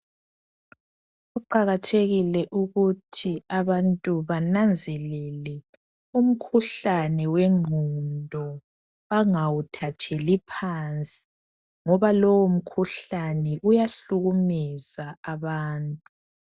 Kuqakathekile ukuthi abantu bananzelele umkhuhlane wengqondo bengawuthatheli phansi ngoba lowo mkhuhlane uyahlukumeza abantu